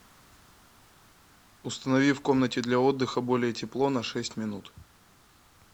установи в комнате для отдыха более тепло на шесть минут